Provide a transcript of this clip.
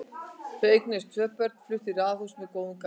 Þau eignuðust tvö börn og fluttu í raðhús með góðum garði.